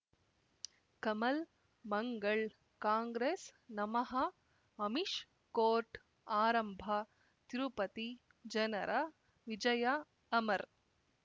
ಕಮಲ್ ಮಂಗಳ್ ಕಾಂಗ್ರೆಸ್ ನಮಃ ಅಮಿಷ್ ಕೋರ್ಟ್ ಆರಂಭ ತಿರುಪತಿ ಜನರ ವಿಜಯ ಅಮರ್